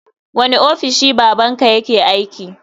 Wani ofishi baban ka yake aiki?